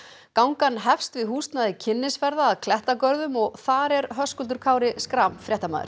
gangan hefst við húsnæði kynnisferða að klettagörðum og þar er Höskuldur Kári Schram fréttamaður